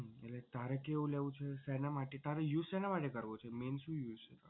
તારે કેવું લેવું છે? શેના માટે તારે use શેના માટે કરવો છે main શું use છે.